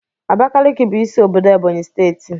Abakaliki bu isi obodo Ebonyi Steeti